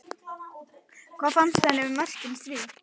Hvað fannst henni um mörkin þrjú?